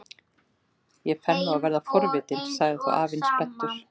Ég fer nú að verða forvitinn sagði þá afinn spenntur.